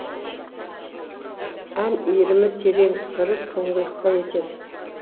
ән иірімі терең сыры тұңғиықта екен